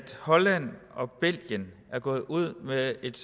holland og belgien er gået ud med et